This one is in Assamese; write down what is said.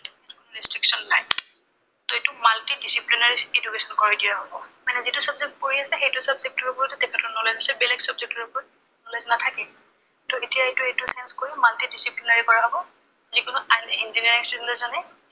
ত এইটো multidisciplinary institution কৰি দিয়া হব। মানে যিটো subject পঢ়ি আছে, সেইটো subject ৰ ওপৰতে তেখেতৰ knowledge আছে, বেলেগ subject ৰ ওপৰত knowledge নাথাকে, ত এতিয়া এইটো, এইটো change কৰি multidisciplinary কৰি দিয়া হব। যি কোনো আন Engineering student এজনে